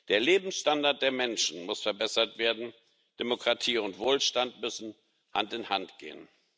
Der Lebensstandard der Menschen muss verbessert werden, Demokratie und Wohlstand müssen Hand in Hand gehen.